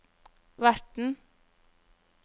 verten